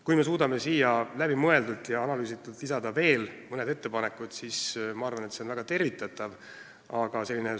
Kui me suudame siia läbimõeldult ja analüüsitult lisada veel mõned ettepanekud, siis see on väga tervitatav, aga märgin, et Kaitseliidu sõjaliste võimekuste pilt peab kindlasti koos käima meie üldise kaitsevõimega.